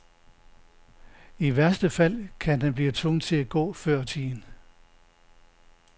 I værste fald kan han blive tvunget til at gå før tiden.